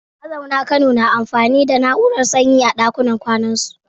Mazaunan Kano na amfani da na’urar sanyi a ɗakunan kwanansu.